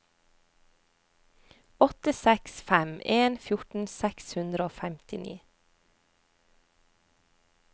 åtte seks fem en fjorten seks hundre og femtini